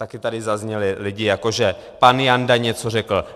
Také tady zazněli lidé jako - pan Janda něco řekl.